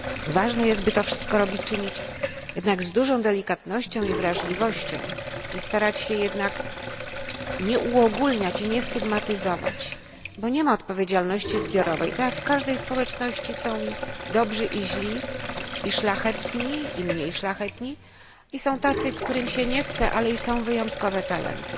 Ważne jest, by to wszystko czynić jednak z dużą delikatnością i wrażliwością oraz starać się jednak nie uogulniać i nie stygmatyzować, bo nie ma odpowiedzialności zbiorowej. Jak w każdej społeczności są dobrzy i źli, szlachetni i mniej szlachetni i są tacy, którym się nie chce, ale i są wyjątkowe talenty.